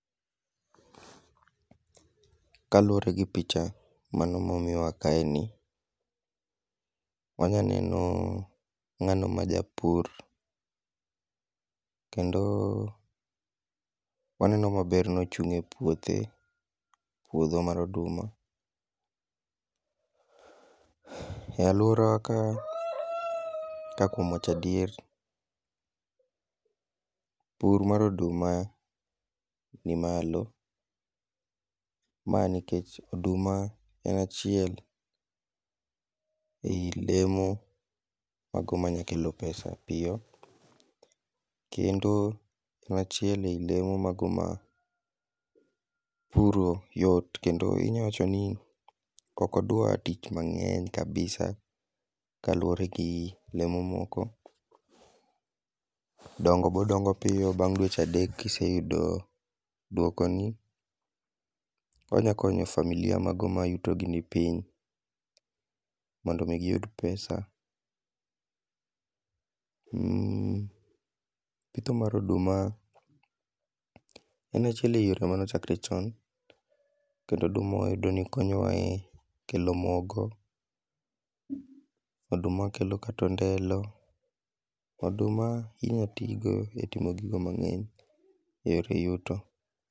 Kaluwore gi picha, mano ma omiwa kae ni, wanyaneno ngáno ma japur, kendo waneno maber ni ochung' e puothe, puodho mar oduma. E alworawa ka ka kuom wacho adier, pur mar odum ni malo, ma nikech, oduma en achiel ei lemo mago manya kelo pesa piyo. Kendo e lemo mago ma puro yot kendo inya wacho ni ok odwa tich mangény kabisa kaluwore gi lemo moko. Dongo be odongo piyo, bang' dweche adek ka, iseyudo dwoko ni, onyalo konyo familia mago ma yuto gi ni piny. mondo omi giyud pesa um. Pitho mar oduma en achiel e yore mane ochakore chon. Kendo oduma wayudo ni konyowa e kelo mogo kod, oduma kelo kata ondelo. Oduma inyalo ti go e kelo gigo mangény e yore yuto.